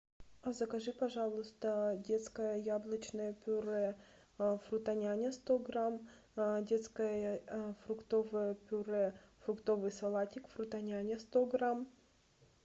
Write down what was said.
закажи пожалуйста детское яблочное пюре фрутоняня сто грамм детское фруктовое пюре фруктовый салатик фрутоняня сто грамм